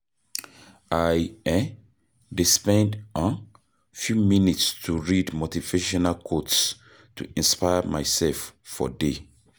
I um dey spend um few minutes to read motivational quotes to inspire myself for day.